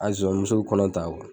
A zonzanni muso bi kɔnɔ ta